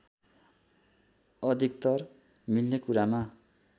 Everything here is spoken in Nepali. अधिकतर मिल्ने कुरामा